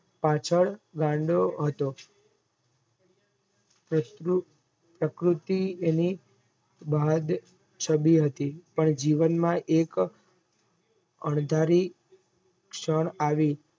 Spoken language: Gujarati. પાછળ ગાંડો હતો પ્રકૃતી અને ચાવી હતી પણ જીવન માં એક અંધારી ક્ષણ આવી